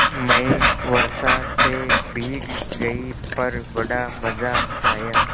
मैं वर्षा से भीग गई पर बड़ा मज़ा आया